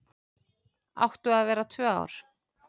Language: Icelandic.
Áttu að vera tvö ár